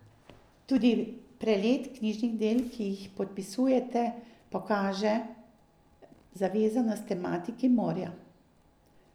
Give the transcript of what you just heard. Tudi prelet knjižnih del, ki jih podpisujete, pokaže zavezanost tematiki morja.